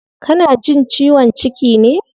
Kana jin ciwon ciki ne?